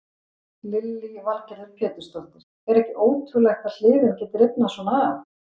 Lillý Valgerður Pétursdóttir: Er ekki ótrúlegt að hliðin geti rifnað svona af?